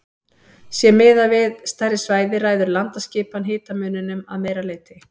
Sé miðað við stærri svæði ræður landaskipan hitamuninum að meira leyti.